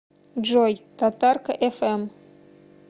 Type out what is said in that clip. джой татарка эф эм